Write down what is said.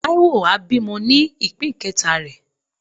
Taiwo a bimò ni ipín keta re.